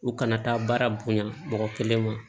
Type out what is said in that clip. U kana taa baara bonyan mɔgɔ kelen ma